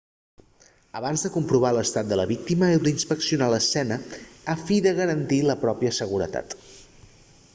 abans de comprovar l'estat de la víctima heu d'inspeccionar l'escena a fi de garantir la pròpia seguretat